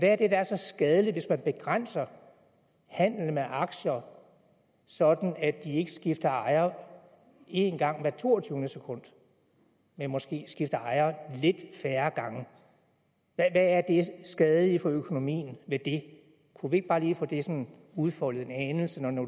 er der er så skadeligt hvis man begrænser handelen med aktier sådan at de ikke skifter ejer en gang hvert toogtyvende sekund men måske skifter ejer lidt færre gange hvad er det skadelige for økonomien ved det kunne vi ikke bare lige få det sådan udfoldet en anelse når nu